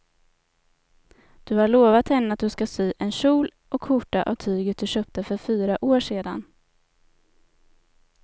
Du har lovat henne att du ska sy en kjol och skjorta av tyget du köpte för fyra år sedan.